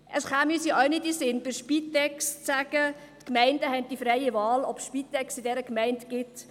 Es käme uns ja auch nicht in den Sinn, bei der Spitex zu sagen, dass die Gemeinden freie Wahl haben, ob es die Spitex in dieser Gemeinde gibt.